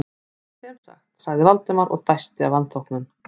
En sem sagt- sagði Valdimar og dæsti af vanþóknun.